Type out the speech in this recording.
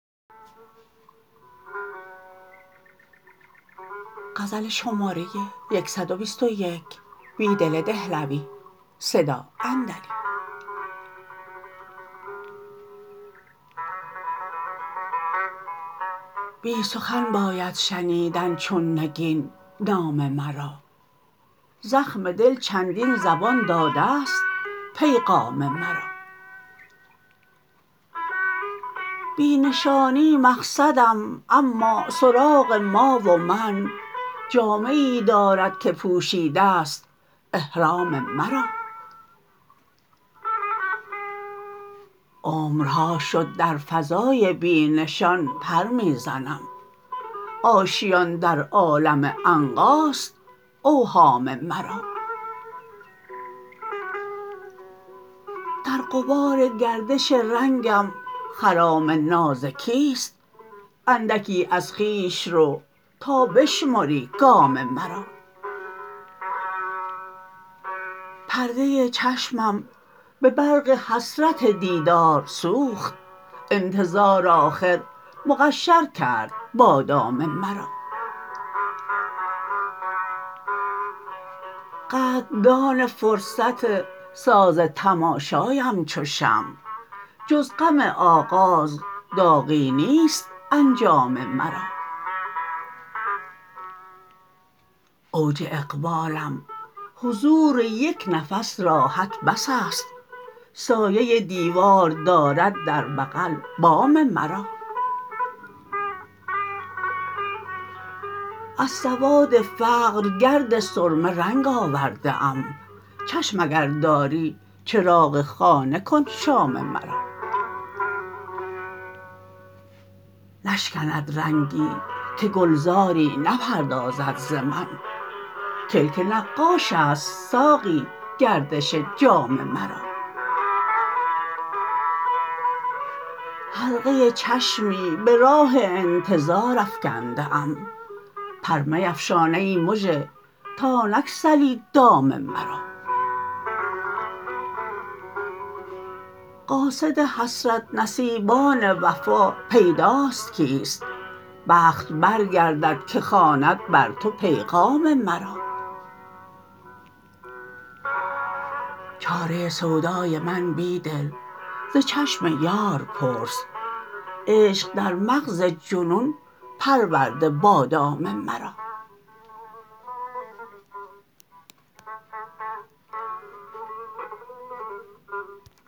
بی سخن باید شنیدن چون نگین نام مرا زخم دل چندین زبان داده ست پیغام مرا بی نشانی مقصدم اما سراغ ما و من جامه ای دارد که پوشیده ست احرام مرا عمرها شد در فضای بی نشان پر می زنم آشیان در عالم عنقاست اوهام مرا در غبارگردش رنگم خرام نازکیست اندکی از خویش رو تا بشمری گام مرا پرده چشمم به برق حسرت دیدارسوخت انتظار آخر مقشرکرد بادام مرا قدردان فرصت ساز تماشایم چو شمع جز غم آغاز داغی نیست انجام مرا اوج اقبالم حضوپک نفس راحت بس است سایه دیوار دارد در بغل بام مرا از سواد فقرگرد سرمه رنگ آورده ام چشم اگر داری چراغ خانه کن شام مرا نشکند رنگی که گلزاری نپردازد ز من کلک نقاش است ساقی گردش جام مرا حلقه چشمی به راه انتظار افکنده ام پر میفشان ای مژه تا نگسلی دام مرا قاصد حسرت نصیبان وفا پیداست کیست بخت برگرددکه خواند بر تو پیغام مرا چاره سودای من بیدل ز چشم یار پرس عشق در مغز جنون پرورده بادام مرا